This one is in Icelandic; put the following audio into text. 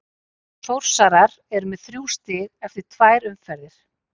Þórsarar eru með þrjú stig eftir tvær umferðir.